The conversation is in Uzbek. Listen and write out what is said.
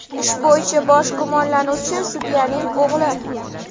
Ish bo‘yicha bosh gumonlanuvchi sudyaning o‘g‘li.